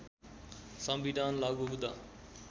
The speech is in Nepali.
संविधान लागू हुँदा